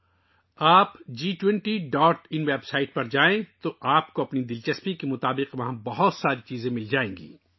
اگر آپ G20.inویب سائٹ پر جائیں گے تو وہاں آپ کو اپنی دلچسپی کے مطابق بہت سی چیزیں ملیں گی